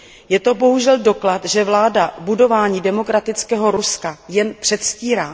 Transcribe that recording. Je to bohužel doklad, že vláda budování demokratického Ruska jen předstírá.